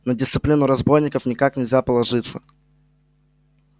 на дисциплину разбойников никак нельзя положиться